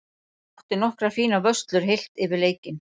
Átti nokkrar fínar vörslur heilt yfir í leiknum.